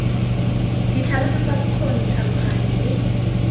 ditlhaloso tsa bokgoni tlhaloganya le